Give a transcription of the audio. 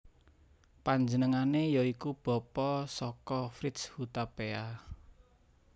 Panjenengane ya iku bapa saka Fritz Hutapea